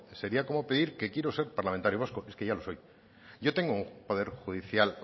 sería como pedir que quiero ser parlamentario vasco es que ya lo soy yo tengo un poder judicial